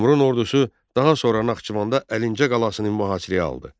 Teymurun ordusu daha sonra Naxçıvanda Əlincə qalasını mühasirəyə aldı.